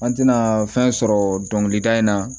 An tɛna fɛn sɔrɔ dɔnkilida in na